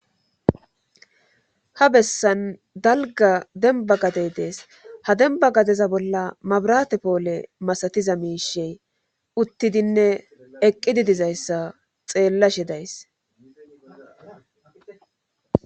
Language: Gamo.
Ha bessan dalga demba gadey dees ha demba gadeza bolla mabrate poole masatiza miishey uttidinne eqqididizayssa xeellashe days